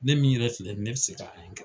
Ne min yɛrɛ filɛ ne bɛ se k'a ye